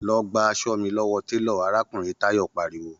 Lọ gba aṣọ mi lọ́wọ́ télọ̀!, arákùnrin Táyọ̀ pariwo